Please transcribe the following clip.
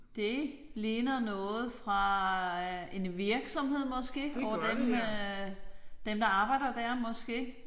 Det ligner noget fra en virksomhed måske. Og dem øh dem der arbejder der måske